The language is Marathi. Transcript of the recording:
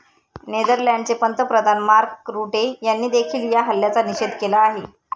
नेदरलँडचे पंतप्रधान मार्क रुटे यांनीदेखील या हल्ल्याचा निषेध केला आहे.